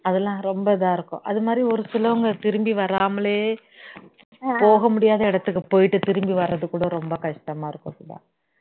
அதெல்லாம் ரொம்ப இதா இருக்கும் அது மாதிரி ஒரு சிலவுங்க திரும்பி வராமலே போக முடியாத இடத்துக்கு போயிட்டு திரும்பி வரதுகூட ரொம்ப கஷ்டமா இருக்கும் அப்படித்தான்